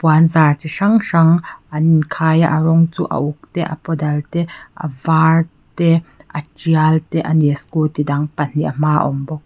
puanzar chi hrang hrang an inkhai a rawng chu a uk te a paw dal te a vâr te a tial te a ni scooty dang pahnih a hma ah a awm bawk.